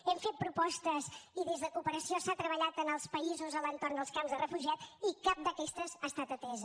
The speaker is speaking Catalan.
hem fet propostes i des de cooperació s’ha treballat en els països a l’entorn dels camps de refugiats i cap d’aquestes ha estat atesa